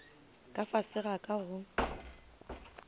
ka fase ga ka go